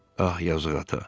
Ah, yazıq ata.